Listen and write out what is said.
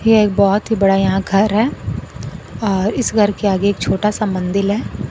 यह एक बहोत ही बड़ा यहां घर है और इस घर के आगे एक छोटा सा मंदिल है।